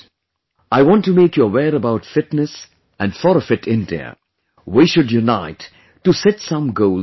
I want to make you aware about fitness and for a fit India, we should unite to set some goals for the country